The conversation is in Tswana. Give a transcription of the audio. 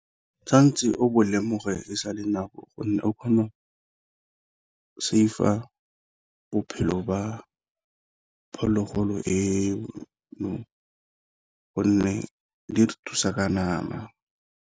Tshwanetse o bo lemoge e sale nako gonne o kgona save-a bophelo ba phologolo eno gonne di re thusa ka nama.